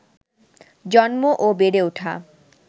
জন্ম ও বেড়ে ওঠা